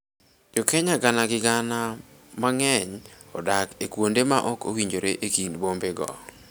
Jo Kenya gana gi gana mang�eny odak e kuonde ma ok owinjore e kind bombego.